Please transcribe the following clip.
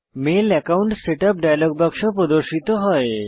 mail account setup dialog বাক্স প্রদর্শিত হয়